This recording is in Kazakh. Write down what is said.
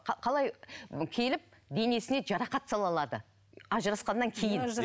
қалай келіп денесіне жарақат сала алады ажырасқаннан кейін